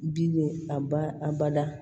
Bi a ba a bada